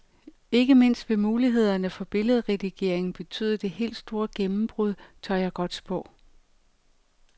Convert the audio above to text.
Ikke mindst vil mulighederne for billedredigering betyde det helt stor gennembrud, tør jeg godt spå.